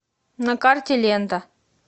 на карте лента